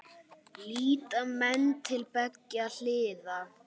Líta menn til beggja hliða?